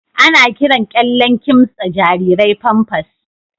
Ana kiran kyallen kimtsa jarirai Pampers.